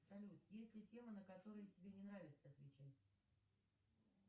салют есть ли темы на которые тебе не нравится отвечать